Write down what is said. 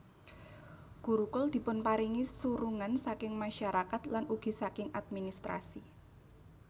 Gurukul dipunparingi surungan saking masyarakat lan ugi saking administrasi